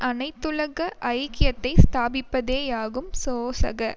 அனைத்துலக ஐக்கியத்தை ஸ்தாபிப்பதேயாகும் சோசக